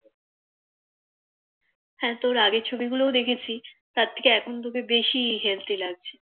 হ্যাঁ তোর আগের ছবিগুলোও দেখেছি তার থেকে এখন তোকে বেশি Healty লাগছে